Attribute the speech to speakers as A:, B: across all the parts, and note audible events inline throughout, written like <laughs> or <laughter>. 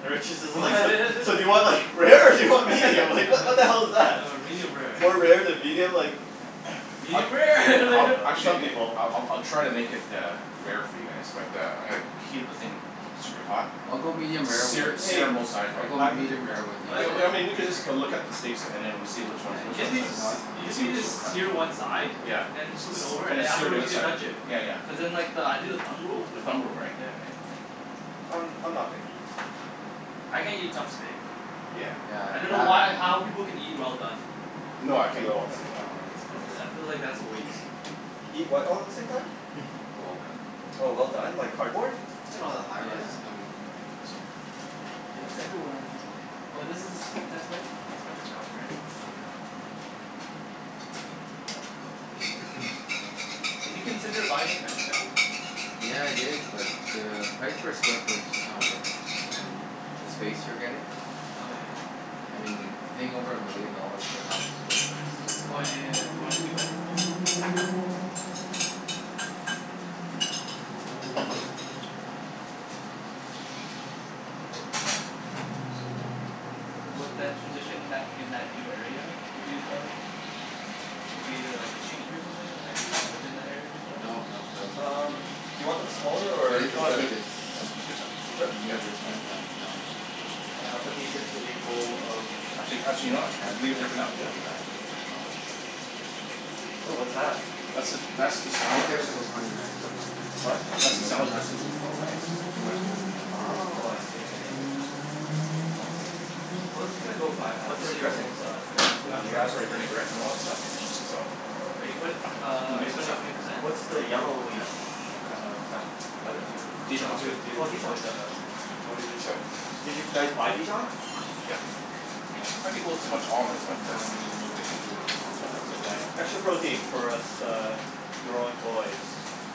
A: The waitress
B: <laughs>
A: is
B: Oh
A: like <laughs> "So so do you want like rare, or do you want medium, like what the hell is that?"
B: medium rare.
A: More rare than medium, like
C: Yeah. <noise> I
B: Medium rare <laughs>
A: Oh
C: I'll
A: no,
B: like
C: actually
B: <laughs>
A: some people
C: <noise> I'll I'll try to make it uh rare for you guys but uh I'm gonna keep the thing keep super hot,
D: I'll go medium rare with
C: sear
D: you,
A: Hey,
C: sear on both sides
D: I'll
C: right.
D: go
A: I'm
D: medium rare with you
C: I
D: so
C: w- I mean we could just go look up the steaks and then we'll see which
B: Yeah,
C: ones, which
B: you just
C: one's
B: need
C: that,
B: to
D: No,
B: s-
D: that's ,
B: you
D: fine.
B: just
C: see
B: need
C: which
B: to
C: we'll cut.
B: sear one
D: <noise>
B: side,
C: Yeah.
B: and then just flip it
C: S-
B: over
C: and
B: and
C: then sear the
B: afterwards
C: other
B: you can
C: side.
B: touch it,
C: Yeah yeah.
B: cuz then like I do the thumb rule.
C: The thumb rule, right.
B: Yeah right.
A: I'm I'm not picky.
B: I can't eat tough steak.
C: Yeah.
D: Yeah,
B: I dunno why or how
D: that
B: people
D: <inaudible>
B: can eat well done.
C: No,
A: Do
C: I can't
A: it
C: eat
A: all
C: well
A: at the
C: done.
A: same
D: No,
A: time.
D: it's gross.
B: I I feel like that's a waste.
C: <noise>
A: Eat what all at the same time?
D: <noise>
C: Well done.
A: Oh well done, like cardboard?
D: Look at all the high rises
B: Yeah.
D: coming up.
C: I'm gonna heat this up here.
B: Yeah it's everywhere um But this is, that's Me- that's Metrotown right?
D: <noise> Yeah. Yep. <noise>
B: Did you consider buying in Metrotown?
D: Yeah I did, but the price per square foot is just not worth it and the space you're getting,
B: Oh yeah.
D: I mean paying over a million dollars for a thousand square foot is just
B: Oh
D: not.
B: yeah yeah yeah.
D: Yeah.
B: You wanted a two bedroom too.
D: <noise>
B: What, that,
C: <inaudible>
B: transition in that in that new area, would be
D: Yeah.
B: at uh Will be uh like a change or something? Have you lived in that area before?
D: No, no, that'll be
A: Um
D: completely new to
A: do
D: me.
A: you want
B: Oh
A: them smaller
B: okay.
D: But
A: or
D: it,
A: is this
C: No,
D: it's
C: that's good.
A: good?
D: good. It's
A: Yeah?
C: That's that's good size.
A: Are you sure?
D: near
C: Yep.
A: All right.
D: Richmond. I'm down in Richmond all the
A: And I'll
D: time,
A: put these into the
D: um
A: bowl of
C: Actually actually, you
D: Near
C: know
D: my
C: what? I can
D: parents'
C: leave it there
D: place.
C: for
D: I
C: now.
A: Yeah?
D: can go back,
A: Okay.
D: visit my dogs.
A: Ooh what's that?
C: That's the, that's the salad
D: Won't get it
C: dressing.
D: til twenty nineteen though,
A: It's what?
C: That's the
D: but I'm
C: salad
D: not
C: dressing.
D: too
A: Oh nice.
D: too much of in a hurry for
A: Oh, I
D: that
A: see.
D: so
A: Fancy.
B: Well it's gonna go by fast,
A: What's
B: we're
A: in the
B: already
A: dressing?
B: almost uh done
D: Yeah,
B: the
C: That
B: year
C: raspberry vinaigrette and all
D: yeah.
C: that stuff.
B: <inaudible>
C: So
B: Are
A: Oh.
B: you put-
C: We can
B: uh are you
C: mix this
B: putting
C: up.
B: twenty percent?
A: What's
B: The
A: the yellowish
D: Yeah. Twenty
A: kind
D: percent.
A: of, butter
C: Dijon
B: I'm
C: mustard.
B: doing
A: or?
B: it to
A: Oh,
B: to
A: Dijon.
B: avoid the
A: Okay.
B: the mortgage
C: So
B: insurance.
A: Did you guys buy Dijon?
C: Yep.
A: Okay.
C: Let people have too much almonds but
D: I'm
C: uh
D: going to do it
C: <inaudible>
D: tomorrow.
A: That's okay. Extra protein for
D: <noise>
A: us uh growing boys.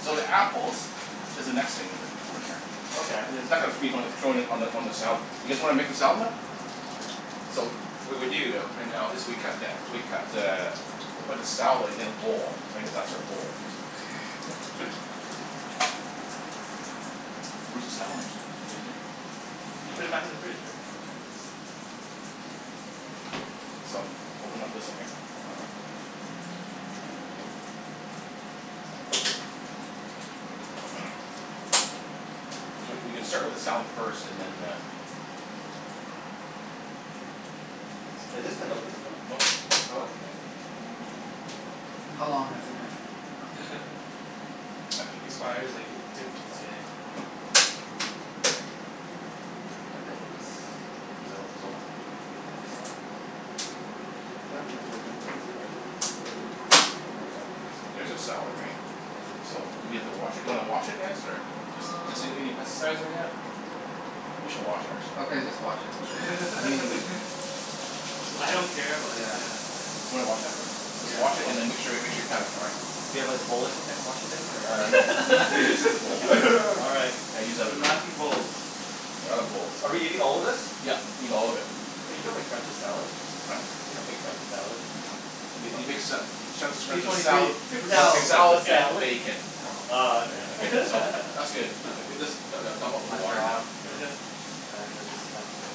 C: So the apples is the next thing we need to <inaudible>
A: Okay.
C: I- it's not gonna <inaudible> on the on the salad. You guys wanna make the salad now?
D: Sure.
C: So, what we do though right now is we cut that, we cut the, we put the salad in a bowl. I guess that's our bowl.
B: <laughs>
C: Where's the salad mixer? Is it here?
B: You put it back in the fridge Rick.
C: Okay. So open up this one here.
A: All right.
C: <noise> We c- we can start with the salad first, and then uh
A: Has this been opened before?
C: Nope.
A: Oh, okay.
D: How long has it been?
B: <laughs> Expires like to- today.
A: There we go. I broke this.
C: Is it o- is it open?
A: No, it's
C: Here.
A: not. That part's open, but this part is just really, there we go.
C: There's a salad right? So do we have to wash it, do you wanna wash it guys or? Just
A: Um
C: doesn't need any pesticides or anything like that. We should wash it actually.
D: Okay just wash it, I mean,
C: Let's
B: <laughs>
D: uh,
C: just
B: I
C: wash
B: don't
C: it.
B: care, but
D: yeah.
B: yeah.
C: Wanna wash that man? Just
A: Yeah,
C: wash it
A: I'll wash
C: and then
A: that.
C: make sure make sure you pat it dry.
A: Do you have like a bowl or something to wash it in or?
C: Uh, no, you you just need the bowl.
A: <inaudible> All right.
B: <laughs>
C: Yeah, use that other
B: The laughing
C: one.
B: bowl.
C: We're out of bowls.
A: Are we eating all of this?
C: Yep, eat all of it.
A: But you don't make friends with salad.
C: Huh?
A: You don't make friends with salad.
C: I dunno. Y- you make sa- sa- sa-
B: P
C: friends
B: twenty
C: with
B: three.
C: sala-
B: Paper
A: You don't
B: towel.
A: make friends
C: salad
A: with
C: and
A: salad.
C: bacon.
D: Paper towel.
A: Oh okay.
D: Yeah.
C: Okay so,
B: <laughs>
C: that's good.
D: Paper towels.
C: Just du- du- dump out
D: It's
C: the
D: my
C: water now.
D: job.
A: Yeah.
D: I am the dispenser.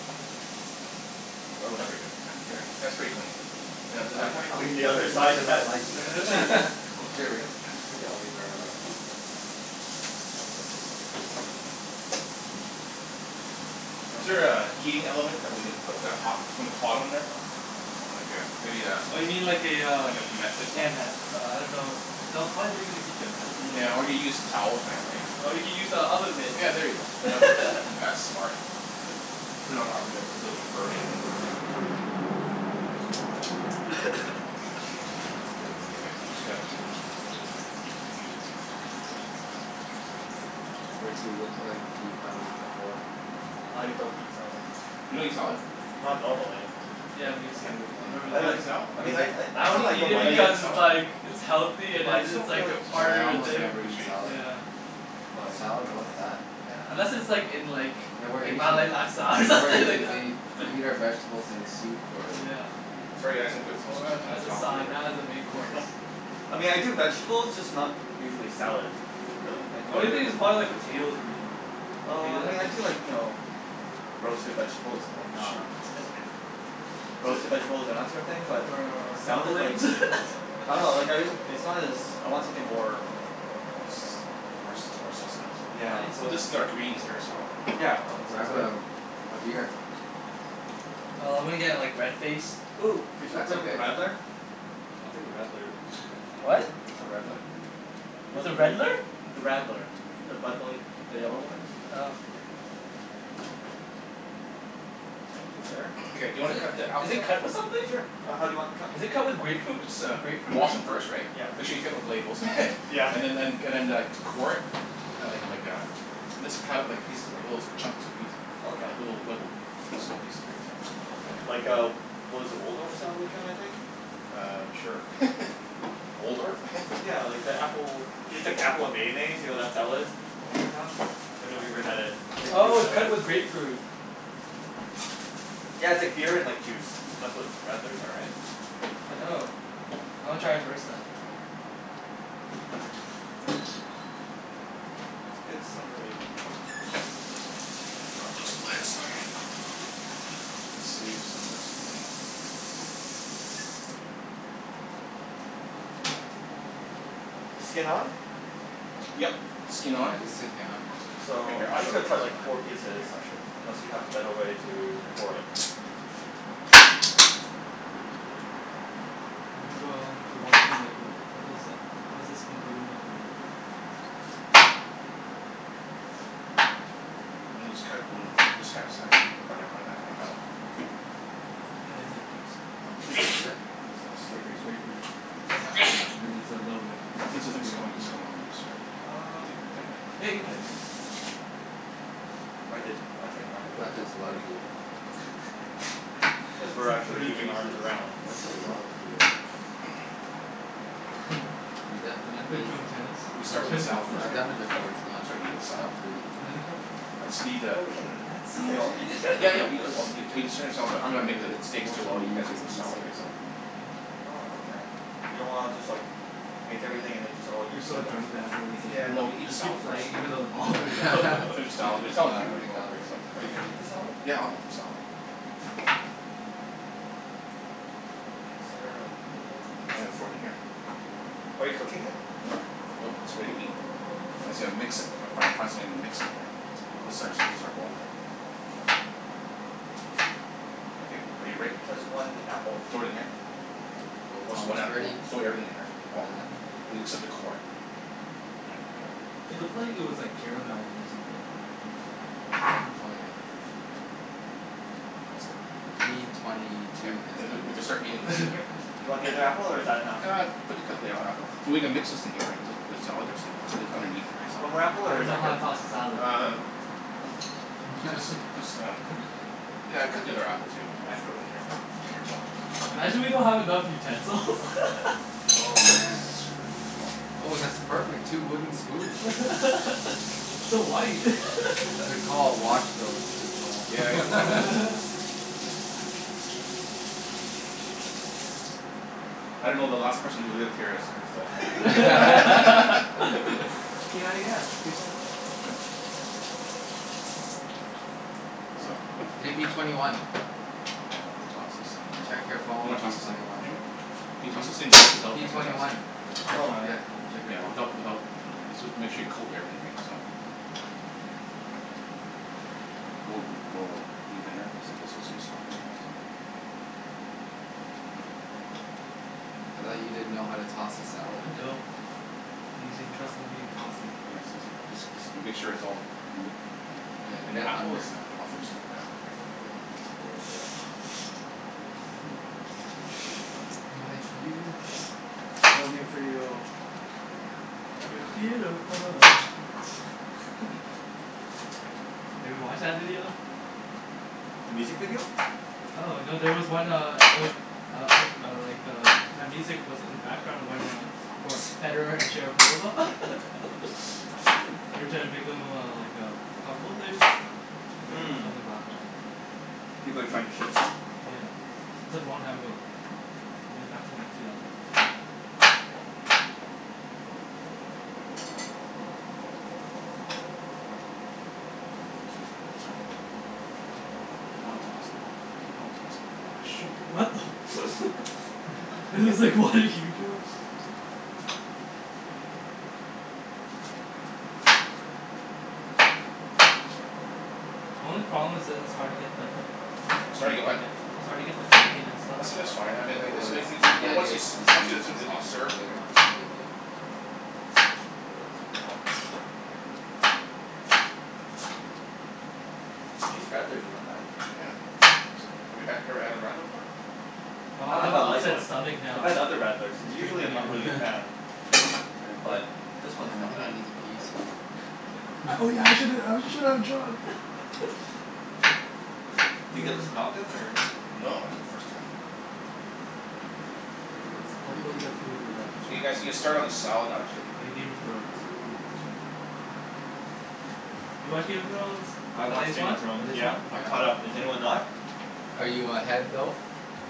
C: That works for you guys.
D: Here.
C: That's pretty clean. Yeah, then
A: I
C: I can
A: haven't
D: I'll
A: cleaned the
D: use
A: other
D: as much
A: side of
D: as I
A: that.
D: like. <laughs>
B: <laughs>
A: Here,
D: Here
A: lick
D: Rick.
A: it. Lick it.
D: I'll leave it right here.
A: <noise> You
C: Is
A: want
C: there
A: my
C: a heating element that we can put the hot hot on there? Like a, maybe a
B: Oh you mean like a uh,
C: Like a mat placement.
B: yeah ma- uh I dunno. No, probably leave it in the kitchen. That's the only thing
C: Yeah
B: I can
C: or we get some towel or something right.
B: Or you can use the oven mitt.
C: Yeah, there you go. That works. That's
B: <laughs>
C: smart. Put it on an oven mitt so it doesn't burn anything.
B: <laughs>
D: That's a good idea.
C: Okay, I just got
D: Rick, you look like you've done this before.
A: I don't eat salad.
C: You don't eat salad?
A: Not normally.
B: Yeah, me too. I've never
D: <noise>
A: I
C: You
B: really
A: like,
C: don't
A: I
B: like
D: Me
A: mean I
D: too.
A: I,
B: I
A: it's not that
B: only
A: I
B: eat
A: don't
B: it
A: like it.
B: because
C: like
B: it's
C: salad? <inaudible>
B: like it's healthy and
A: But I just
B: it's
A: don't feel
B: like
A: like
B: a
D: Yeah,
B: part
D: I
B: of the
D: almost
B: thing.
D: never eat salad.
B: Yeah.
C: <inaudible>
A: Oh, yes.
D: Salad,
A: Oh,
D: what's
A: nice.
D: that?
B: Yeah. Unless it's like in like
D: Yeah we're eating,
B: Malay laksa or <laughs>
D: yeah we're
B: something like
D: eating the,
B: that.
D: we
B: <laughs>
D: eat our vegetables in soup or
B: Yeah.
C: Sorry guys, I'm gonna put s-
D: <noise>
C: s- s- s-
B: Or
C: s- some of
B: as
C: the
B: a
C: salad food
B: side,
C: here.
B: not as a main course.
A: <laughs> I mean I do vegetables, just not usually salad.
C: Really?
A: I
B: The
A: do
B: only
A: other
B: thing is
A: vegetables
B: probably like
A: first.
B: potatoes for me.
A: Oh I
B: Potatoes I
A: mean I
B: can
A: do
B: eat.
A: like, you know roasted vegetables,
C: Oh,
A: uh,
C: shoot.
A: that's okay. Roasted vegetables and that sort of thing, but
B: Or or
A: salad, like
B: dumplings? <laughs>
A: I dunno, like, I, it's not as, I want something more
C: More
A: s-
C: s- , more sustenance?
A: yeah.
B: I need
C: Well
B: some
C: this is our greens here
B: <inaudible>
C: so.
A: Yeah, no it's it's
D: Grab
A: good.
D: a a beer.
B: Nah, I'm gonna get like red faced.
A: Ooh, could you hook
D: That's
A: me up with a
D: okay.
A: radler? I'll take a radler, if there is one.
B: What?
D: What's a redler?
B: What's
A: One
B: a
A: of the,
B: redler?
A: the radler. The Bud Light, the yellow
D: Oh.
A: one?
B: Oh.
A: Thank you sir.
C: Okay do you wanna cut the
B: Is
C: apples
B: it
C: now?
B: cut with something?
A: Sure, uh how do you want them cut?
B: Is it cut with grapefruit,
C: Just uh
B: grapefruit or
C: wash 'em
B: something?
C: first right.
A: Yeah.
C: Make sure you take off the labels. <laughs>
A: Yeah.
C: And then and and then uh core it, like like a mis- cut it like little pieces, like little chunks and piece.
A: Okay.
C: Like little small pieces right
A: Okay,
C: so.
A: like a, what is it, Waldorf style kind of thing?
C: Uh, sure. <laughs> Waldorf? <laughs>
A: Yeah like the apple,
C: Oh
A: it's
C: sh-
A: like apple and mayonnaise, you know that salad that
C: Oh
A: people
C: okay.
A: have? I've never even had it. It's like a fruit
B: Oh, it's
A: salad.
B: cut with grapefruit.
A: Yeah, it's like beer and like juice. That's what radlers are, right? I think.
B: Oh. I wanna try it first then.
A: It's a good summery <inaudible>
C: <inaudible> Gonna save some of this, why not?
A: Skin on?
C: Yep.
A: Okay.
C: Skin
D: Yeah,
C: on.
D: I'll just sit down.
C: Here
A: So,
C: here,
A: I'm
C: I'll
A: just gonna
C: show
A: cut
D: It's
A: like
D: fine.
A: four pieces,
C: Here, I'll show
A: unless
C: you.
A: you have a better way to core it.
B: The people who are watching are like, "What what does, what is this oompa loompa doing?"
C: And then just cut it in this kind of size.
A: Okay.
C: Like that, right so.
B: Yeah, it's like juice.
D: Is it?
C: I think it's a little
B: It's grape-
C: slippery
B: it's
C: here.
B: grapefruit.
A: Yeah.
D: Ah.
B: Yeah it's a little bit, it
C: <inaudible>
B: tastes like
C: it's
B: beer
C: coming it's
B: afterwards.
C: coming on loose or?
A: Um.
C: Think
A: Yeah,
C: I
A: you
C: can
A: can
C: tighten it?
A: tighten it.
C: Ah.
A: I did, I tightened mine
D: I'm
A: a
D: glad
A: couple
D: there's
A: times
D: a lot
A: already.
D: of beer.
B: <laughs>
A: Cuz
B: It's
A: we're
B: like
A: actually
B: three
A: moving arms
B: cases?
D: I
A: around
D: mean, that's a lot of beer.
A: <laughs>
C: <noise>
B: <laughs>
D: Can definitely
B: Wanna play
D: s-
B: drunk tennis?
C: We'll start with the
B: Drunk
C: salad first,
D: I've
C: eh?
D: done
B: tennis. <laughs>
D: that before,
A: Okay.
D: it's not
C: Start eating the
D: it's
C: salad.
D: not pretty.
C: I just need a
A: Well, we can
B: <laughs> That's
A: we
B: so
A: can all eat
B: in!
A: together
C: Yeah
A: right?
C: yeah,
B: <laughs>
A: <noise>
C: <inaudible> but I'm
D: No,
C: going make the
D: i- it's
C: steaks
D: more
C: too
D: so
C: while you
D: me
C: guys eat
D: just
C: the salad,
D: missing the
C: right so.
D: ball.
A: Oh, okay. You don't wanna just like make everything and then just all eat
B: You're so
A: together?
B: drunk that afterwards like
C: Yeah
B: people
C: no,
B: keep,
C: eat the
B: you keep
C: salad first,
B: playing even though the
C: and then
B: balls
C: the.
B: all go <laughs>
C: Finish the salad, the
D: <laughs> No,
C: salad will
D: I
C: be
D: don't
C: really
D: think
C: quick
D: I'll
C: right
D: ever
C: so.
D: get to
A: Are you
D: that
A: gonna
D: point.
A: eat the salad?
C: Yeah, I'll have some salad.
A: Okay. Is there a bowl?
C: I'm gonna throw it in here.
A: Okay. Are you cooking it?
C: Nope, nope, it's ready to eat. I said I'll mix it. Gotta fi- fi- find something to mix it right. This is ours, this
A: <inaudible>
C: is our bowl here. Okay. Are you ready?
A: So that's one apple.
C: Throw it in here.
D: Oh
C: Oh
D: it's
C: so one
D: almost
C: apple one?
D: ready.
C: Throw everything in here.
D: Look at
C: All.
D: that.
B: <noise>
C: Oh except the core.
A: Yeah. I got it.
B: It looked like it was like caramel or something. Like the
A: <noise>
B: actual sauce and stuff.
D: Oh yeah.
C: That's good.
D: P twenty
C: Yep.
D: two has
C: We
D: done
C: we
D: this
C: can start eating
D: before.
C: this in here.
A: Do you want the other
B: <laughs>
A: apple or is that enough?
C: Ah, put the, cut the other app- so we're gonna mix this thing here right, just, just the salad dressing that's underneath it, right so.
A: One more apple
B: I
A: or is
B: don't know
A: that
B: how
A: good?
B: to toss the salad.
C: Uh, just,
D: <laughs>
C: just uh, yeah cut the other apple too, we can throw it in here.
B: Imagine we don't have enough utensils. <laughs>
D: Oh man.
C: That's screwed. <noise>
D: Oh, that's perfect. Two wooden spoons.
B: <laughs> <noise> It's so white. <laughs> <noise>
D: Good call. Wash those. Good call.
C: Yeah, I gotta wash.
D: <laughs>
C: I don't know, the last person who lived here is is a <laughs>
B: <laughs> p ninety x, p ninety x.
C: So
D: Hey, P twenty one.
C: Toss this thing here.
D: Check your
C: You
D: phone,
C: wanna
D: P
C: toss this thing?
D: twenty one.
C: Jimmy, can you
D: P P
C: toss this thing without without
D: P
C: making a
D: twenty
C: mess?
D: one.
B: I'll
A: Oh.
B: try.
C: Yeah. Without without, this was, make sure you coat everything right, so. Like go go deep in there cuz like there's some stuff in there, right? So.
D: I thought you didn't know how to toss a salad.
B: I don't. He's entrusting me in tossing.
C: Yeah, it's easy. Just just make sure it's all ma- , and
D: Yeah.
C: and the
D: Get
C: apple is
D: under.
C: a, I'll fix, yeah
D: My view.
B: No view for you.
D: Damn.
B: You're beautiful. <laughs> Have you watched that video?
A: The music video?
B: Oh no. There was one uh, it was uh uh, like uh, that music was in the background when uh, for Federer and Sharapova <laughs> they're trying to make them uh like uh couple like, I
A: Hmm.
B: was like laughing my ass off.
A: People are trying to shit them?
B: Yeah. It was like long time ago though. I mean back in like two thousand and three.
C: Excuse me. Sorry. Keep on tossing. Keep on tossing. Whoa, shoot.
B: What the <laughs> I was like, what are you doing? The only problem is that it's hard to get like the the
C: It's hard to get
B: bacon
C: what?
B: a- it's hard to get the bacon and stuff.
C: I said it's fine. I mean
D: It it was. The idea is to
C: <inaudible>
D: distribute the sauce
C: served.
D: and later on you can divvy up the the rest of it.
A: These radlers are not bad.
C: Yeah. It's like, we had, you've never had a radler before?
B: Oh,
A: Not
B: I
A: the
B: have a
A: Bud Light
B: upset
A: one.
B: stomach
A: I've
B: now.
A: had other
B: I
A: radlers and
B: was
A: usually
B: drinking
A: I'm not
B: it.
A: really a fan.
D: You gonna quit?
A: But this one
D: Damn,
A: is
D: I
A: not
D: think I
A: bad.
D: need to pee
A: I like this
D: soon.
A: one.
B: Oh
D: <laughs>
B: yeah. I shouldn't, I shouldn't have drunk. <laughs>
A: Do you get this one
B: <noise>
A: often or?
C: No, <inaudible> first time.
D: I think that's
A: Uh
D: pretty good.
A: hopefully, the food will
C: You guys, you
A: like
C: can start
A: distract
C: on the
A: me.
C: salad
A: I
C: actually.
A: think Game of Thrones will distract me.
D: Yeah.
B: You watch Game of Thrones?
A: I
B: The
A: watch
B: latest
A: Game
B: one?
A: of
B: The
A: Thrones.
B: latest
A: Yeah.
B: one?
A: I'm caught up. Is anyone
C: Here.
A: not?
D: Are you ahead though?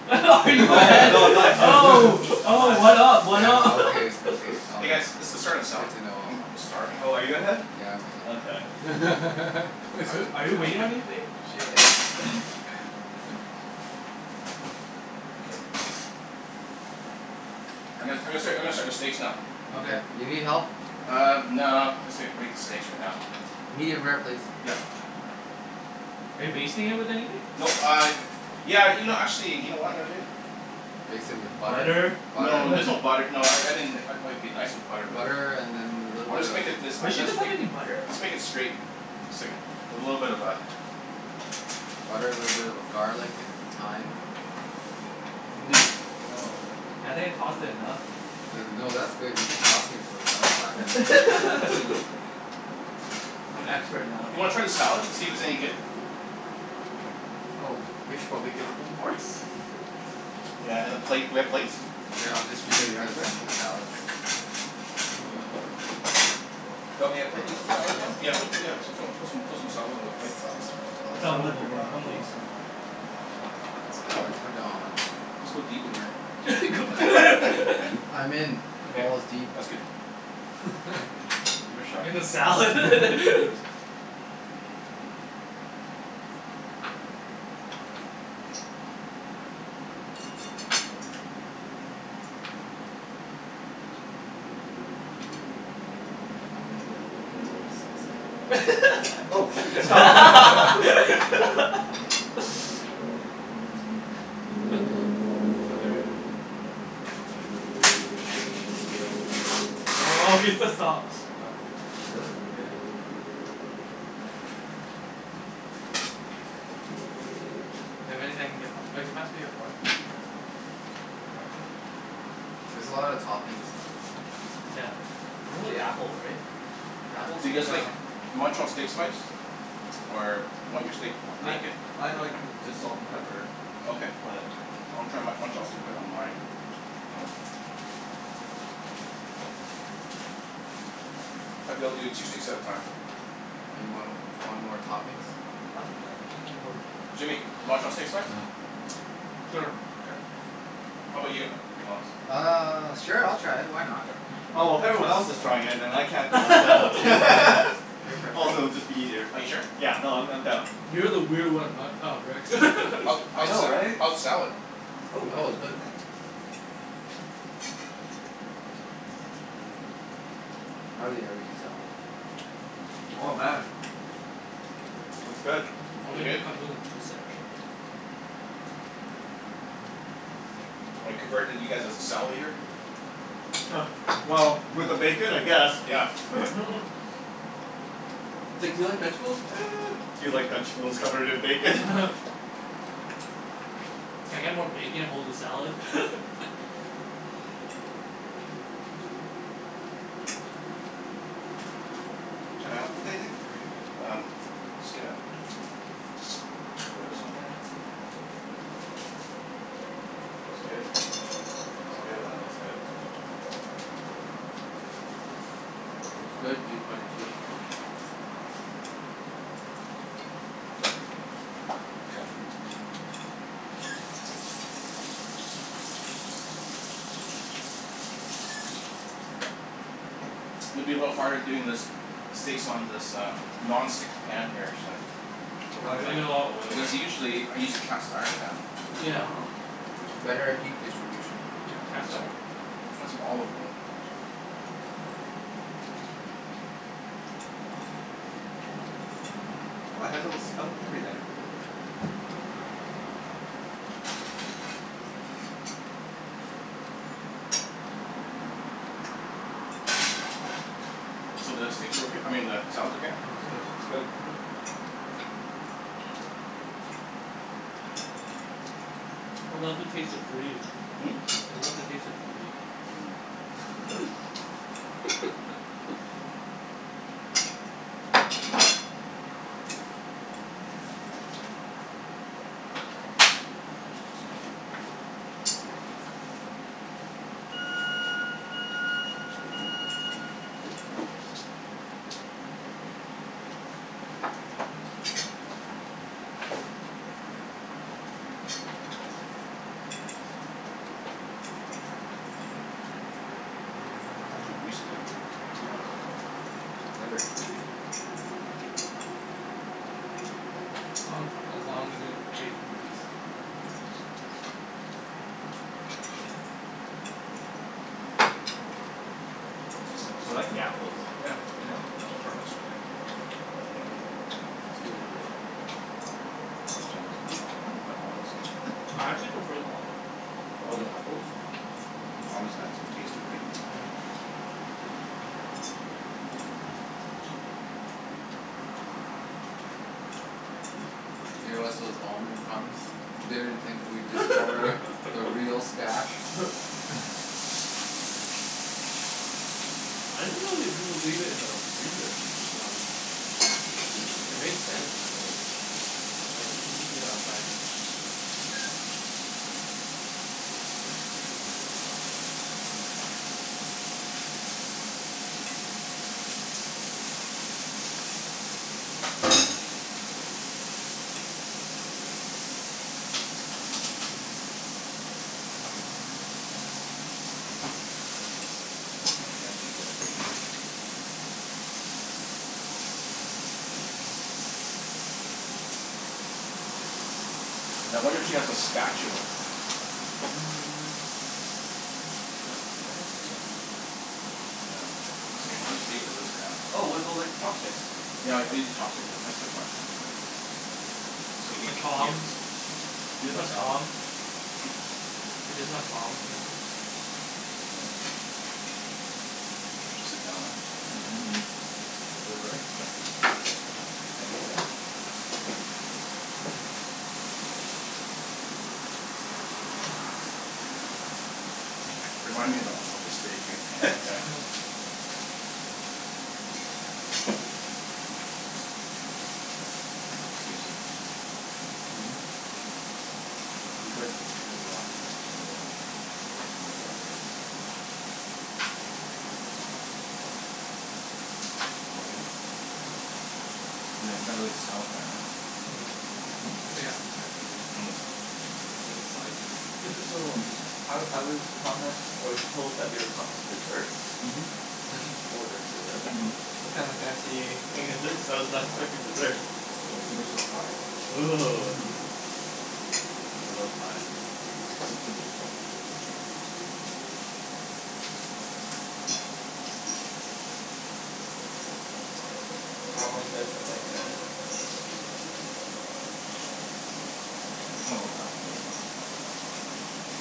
B: <laughs> Are you
A: Oh
B: ahead,
A: no,
D: <laughs>
A: I'm not ahead.
B: oh,
A: I'm not
B: oh,
A: ahead.
B: what up, what
D: Oh
B: up?
D: okay.
B: <laughs>
D: Okay. All
C: Hey guys,
D: right.
C: let's let's start with salad.
D: Good to know.
C: I'm I'm
D: <noise>
C: starving.
A: Oh, are you ahead?
D: Yeah, I'm ahead.
A: Okay.
B: Are you are you waiting on anything?
D: <laughs> <noise> <laughs> Shit.
A: <laughs>
C: I'm gonna I'm gonna start I'm gonna start the steaks now.
D: Okay. Do you need help?
C: Uh, no, I'm just gonna, I'll make the steaks right now.
D: Medium rare, please.
C: Yep.
B: Are you basting it with anything?
C: Nope uh, yeah, you know actually, you know what I'm gonna do?
D: Baste it with butter?
B: Butter?
C: No, there's no butter. No, I I mean like it it'd be nice with butter but
D: Butter and then a little
C: I'm
D: bit
C: just
D: of
C: gonna make it this uh
A: Wait, she
C: that's
A: doesn't have
C: make
A: any butter?
C: I'll just make it straight. It's like a little bit of a
D: Butter, little bit of garlic and thyme.
A: This. No. Yeah I think I tossed it enough.
D: No no, that's good. You've been tossing it for the last five
B: <laughs>
D: minutes so
B: I'm expert
C: Do
B: now.
C: you wanna try the salad to see if it's any good?
A: Oh, we should probably give them forks. <laughs>
C: Yeah and a plate. Do we have plates?
D: Here, I'll
A: Here you
D: distribute
A: are,
D: the
A: sir.
D: the salads.
A: Do you want me to
D: Oh,
A: put you
D: that's
A: some
D: the
A: salad, Don?
D: sauce.
C: Yeah. Put, yeah, put some put some salad on the plate.
D: Salt from tossed
B: I'll
D: salad.
A: Salad
B: move
A: for
B: over. I'll
A: Donald
B: move
A: please.
B: over.
D: Salad for Don.
C: Just go deep in there.
B: <laughs>
D: I'm in.
C: Okay.
D: Balls deep.
C: That's good.
D: <laughs>
C: Give it a shot.
B: In the salad?
D: <laughs>
B: <laughs>
A: Oh, thank you.
D: I'm gonna keep going until he says stop.
B: <laughs>
A: Oh,
B: <laughs>
A: shoot.
B: That's
A: Stop.
B: hilarious.
D: Keep going until. This is yours Jimmy. I'll
B: Oh, <laughs> he
D: take that one.
B: said stop.
D: Really?
B: Yeah.
D: Okay.
B: That means I can get more. Oh, can you pass me a fork?
A: Oh, <noise> here you are, sir.
D: There's a lot of toppings left.
B: Yeah. And only apple, right?
C: Do you
D: Apples.
C: guys like Montreal steak spice? Or you want your steak
A: I
C: naked?
A: I like just salt and pepper.
C: Okay.
A: But
C: I'll try Mon- Montreal steak on my. Oh. I'll be able to do two steaks at a time.
D: Anyone w- want more toppings?
A: I'm okay.
B: I'm good.
C: Jimmy, Montreal steak spice?
B: Sure.
C: K. How about you Alex?
D: Uh, sure I'll try it, why not?
C: Okay.
D: Be
A: Oh, if everyone
D: adventurous
A: else is
D: for one
A: trying
D: day.
A: it then I can't be left
D: Oh,
A: out.
D: peer pressure.
A: <laughs>
B: <laughs>
D: Peer pressure.
A: Also, it'd be just easier.
C: Are you sure?
A: Yeah. No, I'm I'm down.
B: You're the weird one, Matt, uh Rick. <laughs>
A: I
C: How's the
A: know,
C: sa-
A: right?
C: how's the salad?
A: Oh, I'm
D: Oh, it's
A: gonna
D: good.
A: try it.
D: I hardly ever eat salad though.
B: Uh huh.
A: Oh, man. It's good.
C: Is it
B: Only if
C: good?
B: it comes with a moose head or something.
C: Am I converted you guys as a salad eater?
A: <laughs> Well, with the bacon I guess.
C: Yeah.
A: <laughs>
B: <laughs>
A: It's like, do you like vegetables? <noise> Do you like vegetables covered in bacon?
B: <laughs>
A: <laughs>
B: Can I get more bacon, hold the salad? <laughs>
A: Can I help with anything or are you
C: Um, It's good. I'll put this on here. It's good.
A: Oh man, that looks good.
D: That's good, P twenty two.
C: Okay. It's gonna be a little bit harder doing this, steaks on this uh non-stick pan here actually.
A: Oh, why
B: Ah,
A: is
B: you
A: that?
B: need a lot of oils.
C: Because usually I use a cast iron pan.
D: Yeah.
A: Oh.
D: Better at heat distribution.
B: You have
C: And
B: cast
C: so,
B: iron?
C: I'll find some olive oil.
A: Oh, it has a little spout and everything.
C: So, the steaks are okay? I mean the salad's okay?
D: Oh, it's good.
A: Mmm, it's good.
B: I love the taste of free.
C: Hmm?
B: I love the taste of free.
C: Hmm.
B: <laughs>
C: It's over here.
D: <inaudible>
C: It's not too greasy, is it?
D: No, no, it's fine.
A: Never too greasy.
B: As long as as long as there's bacon grease, I'm good.
C: This is simple
A: I
C: salad.
A: like the apples.
C: Yeah.
A: Yeah.
C: It has a tartness all right.
D: Yeah. It's good addition.
C: So Jen goes, "What happened to my almonds?" <laughs>
B: I actually prefer the almonds over the apple.
C: Almonds add some taste to it, right?
B: Yeah.
D: Gave us those almond crumbs. Didn't think we'd discover the real stash.
B: <laughs> I didn't know you people leave it in the freezer. It makes
D: <inaudible>
B: sense but Right, you could just leave it outside.
C: Now I wonder if she has a spatula.
B: <noise>
C: Yeah. <inaudible> eat this for now.
A: Oh, what about like chopsticks?
C: Yeah, I I use the chopsticks. Then <inaudible> So
B: Or
C: leave it, here.
B: tongs? You
C: Eat
B: guys
C: my
B: use
C: salad.
B: tongs?
A: Hm?
B: You just have tongs <inaudible>
C: Yeah, that's okay. I'll just sit down now.
A: Yeah. Let me move, move over. <laughs>
C: There you go.
A: Thank you, sir.
C: Remind me ab- of of the steak eh. <laughs>
A: Okay.
B: <laughs>
C: I think we can save some stuff for Jen. Mhm.
D: You could. There's a lot.
C: There's a lot, right? And your brother. <inaudible> Want some more, Jimmy?
B: No, I'm good.
C: No? You're not you're not really a salad fan, huh?
B: No. It's like appetizer,
C: It's
B: right?
C: an appetizer.
B: It's like a side to me.
A: So
B: <laughs>
C: It's a side.
A: I I was promised, I was told that we are promised desserts?
C: Mhm.
D: Oh, there's
B: <laughs>
D: dessert?
C: Mhm.
A: What kind of fancy thing is this? <inaudible> freaking dessert.
C: It's called Superstore pie.
A: Ooh.
D: Mmm.
A: I love pie.
C: Simp- simple dessert.
A: So, how long you guys been playing tennis? <noise>
C: A long time for me.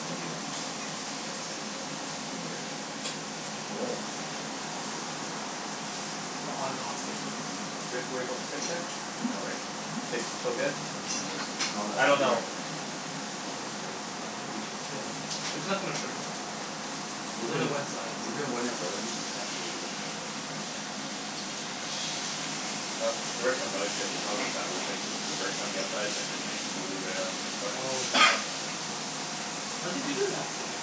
C: Maybe, uh, twenty years.
D: Oh.
B: But on and off again, right?
C: Mhm.
A: Do we have to worry about the steak yet?
C: Hmm?
A: No, right? Steaks
C: Hmm?
A: are still good.
C: <noise>
D: Smell that
B: I don't know.
D: sear. Smell the sear. No, it should be <inaudible>
B: It's not gonna burn that fast. There's only
D: Even
B: one side too.
D: even when it burns, it's actually good.
A: Uh the restaurants I always get a Chicago sour, it's like burnt on the outside and then like blue rare on the inside.
B: Oh yeah, I love that thing. How do they do that then?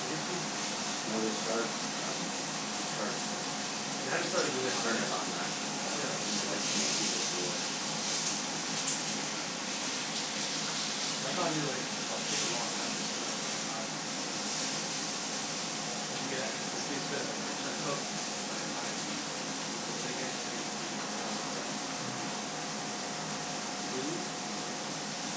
B: They just keep
D: No. They start um, they start
B: You have to start really
D: They
B: hot.
D: turn it on max.
B: Yeah.
D: When they get smoky, they put it in.
B: Oh. Cuz I thought it'll be like it'll take a long time just for that one side. Right?
A: Mmm.
B: And to get it actually crispy, it's gonna it's gonna cook by the time you flip it again, it's gonna be medium rare on one side.
A: Mhm.
B: Blue?
A: Yes.